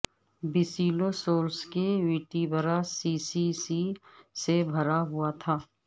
Basilosaurus کے vertebra سی سی سی سے بھرا ہوا تھا